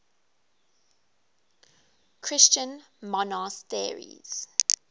christian monasteries